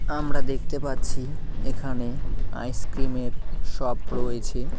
আমরা দেখতে পাচ্ছি এখানে আইসক্রিম -এর শপ রয়েছে।